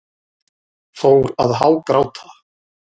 Fór að hágráta.